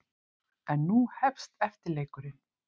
En nú hefst eftirleikurinn.